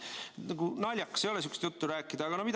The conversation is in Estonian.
Nagu naljakas ei ole sihukest juttu rääkida või?